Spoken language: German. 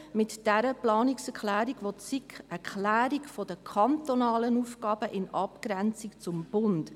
Mit dieser Planungserklärung verlangt die SiK eine Klärung der kantonalen Aufgaben in Abgrenzung zum Bund.